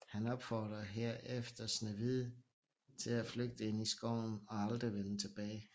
Han opfordrer herefter Snehvide til at flygte ind i skoven og aldrig vende tilbage